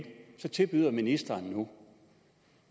tilbyder ministeren nu